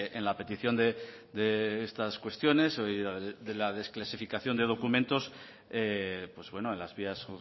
en la petición de estas cuestiones de la desclasificación de documentos pues bueno en las vías